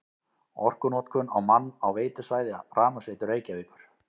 Orkunotkun á mann á veitusvæði Rafmagnsveitu Reykjavíkur